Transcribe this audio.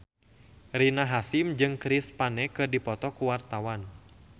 Rina Hasyim jeung Chris Pane keur dipoto ku wartawan